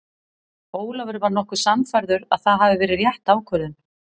Ólafur var nokkuð sannfærður að það hafi verið rétt ákvörðun.